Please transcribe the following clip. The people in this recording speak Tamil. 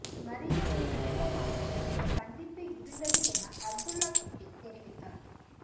மரியாதை நிமித்தமாகவே இந்தச் சந்திப்பு இருந்தது என அப்துல்லா குட்டி தெரிவித்தார்